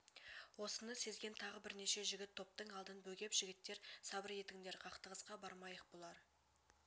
осыны сезген тағы бірнеше жігіт топтың алдын бөгеп жігіттер сабыр етіңдер қақтығысқа бармайық бұлар